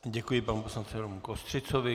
Děkuji panu poslanci Romu Kostřicovi.